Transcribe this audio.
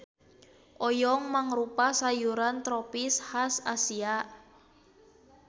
Oyong mangrupa sayuran tropis has Asia.